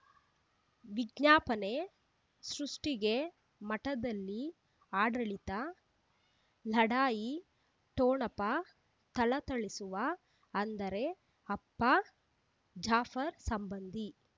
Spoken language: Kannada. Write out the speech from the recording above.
ವಿಜ್ಞಾಪನೆ ಸೃಷ್ಟಿಗೆ ಮಠದಲ್ಲಿ ಆಡಳಿತ ಲಢಾಯಿ ಠೊಣಪ ಥಳಥಳಿಸುವ ಅಂದರೆ ಅಪ್ಪ ಜಾಫರ್ ಸಂಬಂಧಿ